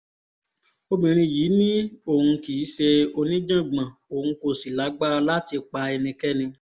obìnrin yìí ni òun kì í ṣe oníjàngbọ̀n òun kò sì lágbára láti pa ẹnikẹ́ni